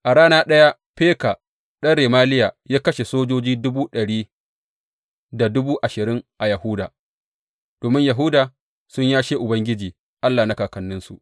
A rana ɗaya Feka ɗan Remaliya ya kashe sojoji dubu ɗari da dubu ashirin a Yahuda, domin Yahuda sun yashe Ubangiji Allah na kakanninsu.